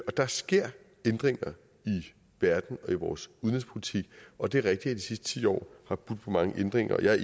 der sker ændringer i verden og i vores udenrigspolitik og det er rigtigt at de sidste ti år har budt på mange ændringer jeg er